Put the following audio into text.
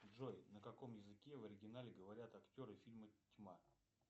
джой на каком языке в оригинале говорят актеры фильма тьма